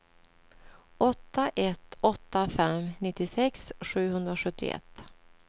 åtta ett åtta fem nittiosex sjuhundrasjuttioett